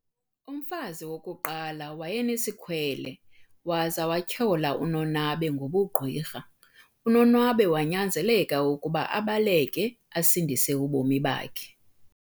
Umfazi wokuqala wayenesikhwele waza wathyola uNonabe ngobugqwirha, uNonwabe wanyanzeleka ukuba abaleke asindise ubomi bakhe.